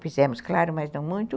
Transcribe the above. Fizemos, claro, mas não muito.